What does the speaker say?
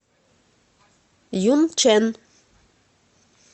юнчэн